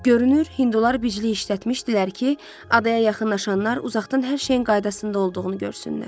Görünür, hindular biclik işlətmişdilər ki, adaya yaxınlaşanlar uzaqdan hər şeyin qaydasında olduğunu görsünlər.